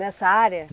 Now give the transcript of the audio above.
Nessa área?